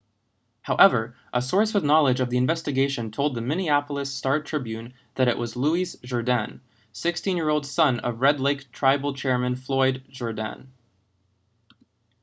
however a source with knowledge of the investigation told the minneapolis star-tribune that it was louis jourdain 16-year old son of red lake tribal chairman floyd jourdain